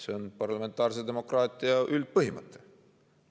See on parlamentaarse demokraatia üldpõhimõte.